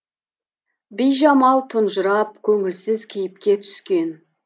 бижамал тұнжырап көңілсіз кейіпке түскен